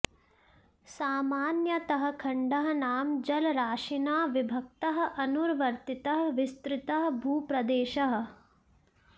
सामान्यतः खण्डः नाम जलराशिना विभक्तः अनुवर्तितः विस्तृतः भूप्रदेशः